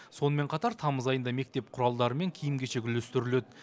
сонымен қатар тамыз айында мектеп құралдары мен киім кешек үлестіріледі